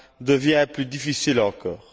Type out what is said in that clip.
devient plus difficile encore.